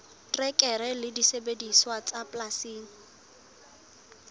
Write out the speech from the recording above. terekere le disebediswa tsa polasing